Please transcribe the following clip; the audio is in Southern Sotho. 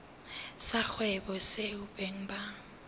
sa kgwebo seo beng ba